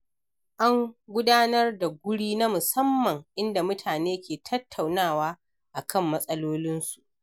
An Gudanar da guri na musamman inda mutane ke tattaunawa akan matsalolinsu